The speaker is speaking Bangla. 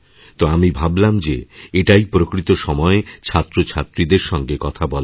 তো আমিভাবলাম যে এটাই প্রকৃত সময় ছাত্রছাত্রীদের সঙ্গে কথা বলার